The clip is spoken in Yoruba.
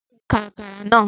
Tayo n ká Àkàrà náà